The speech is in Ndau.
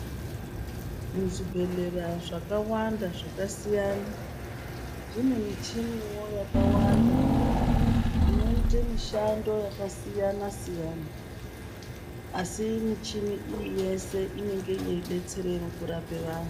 Muzvibhedhlera zvakawanda zvakasiyana zvine michiniwo yakawanda inoite mishando yakasiyana siyana asi michini iyi yese inenge ine betsero yekurape vanhu .